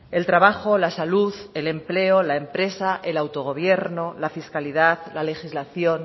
el trabajo la salud el empleo la empresa el autogobierno la fiscalidad la legislación